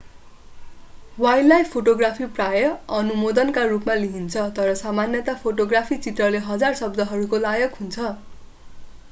wildlife photography प्राय अनुमोदनका रूपमा लिइन्छ तर सामान्यतया फोटोग्राफी चित्रले हजार शब्दहरूको लायक हुन्छ